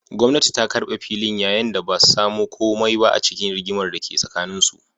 Gwamnati ta karbe filin, yayin da ba su samu komai ba a cikin rigimar da ke tsakaninsu.